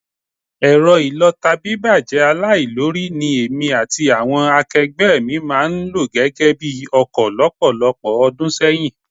Ẹ̀rọ ìlọta bíbàjẹ́ aláìlórí, ní èmi àti àwọn akẹgbẹ́ mi máa ń lò gẹ́gẹ́ bi ọkọ lọ́pọ̀lọpọ̀ ọdún sẹ́yìn